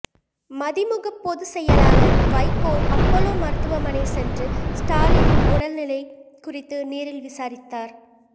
மதிமுக பொதுச் செயலாளர் வைகோ அப்போலோ மருத்துவமனை சென்று ஸ்டாலினின் உடல் நிலை குறித்து நேரில் விசாரித்தார்